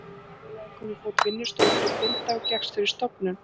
Félagið kom á fót vinnustofu fyrir blinda og gekkst fyrir stofnun